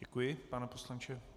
Děkuji, pane poslanče.